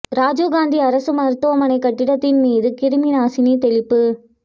இராஜிவ் காந்தி அரசு மருத்துவமனை கட்டிடத்தின் மீது கிருமி நாசினி தெளிப்பு